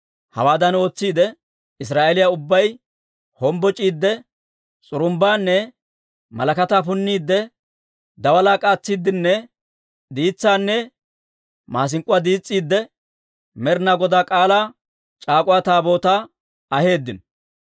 Hawaadan ootsiide, Israa'eeliyaa ubbay hombboc'iidde, s'urumbbaanne malakataa punniidde, daalaa k'aatsiiddenne, diitsaanne maasink'k'uwaa diis's'iidde, Med'inaa Godaa K'aalaa c'aak'uwa Taabootaa aheeddino.